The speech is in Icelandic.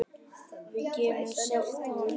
Við getum selt hann.